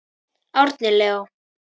Árni Leó.